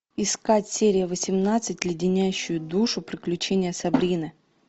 искать серия восемнадцать леденящие душу приключения сабрины